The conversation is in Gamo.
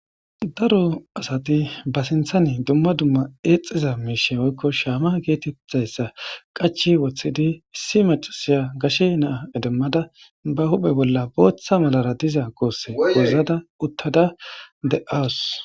Daro asati ba sinthane dumma dumma eexxiza miishe oykko shaama geetetthayssa qachi wothidi issi macasiya gashe naa edemmada ba huphe bolla booththa malara diza goosse gozada uttada de7awus.